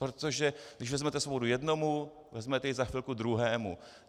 Protože když vezmete svobodu jednomu, vezmete ji za chvilku druhému.